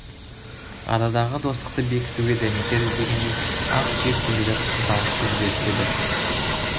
арадағы достықты бекітуге дәнекер іздегенде ақ сүйек төрелер қыз алып қыз беріседі